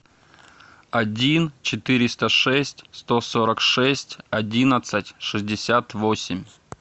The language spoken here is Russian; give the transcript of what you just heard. один четыреста шесть сто сорок шесть одиннадцать шестьдесят восемь